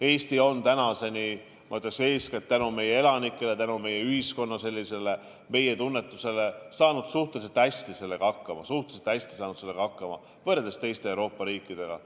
Eesti on tänaseni, ma ütleksin, eeskätt tänu meie elanikele ja ühiskonna meie‑tundele saanud sellega suhteliselt hästi hakkama võrreldes teiste Euroopa riikidega.